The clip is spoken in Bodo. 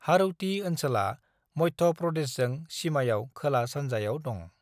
हाड़ौती ओनसोला मध्य प्रदेशजों सिमायाव खोला-सानजायाव दं।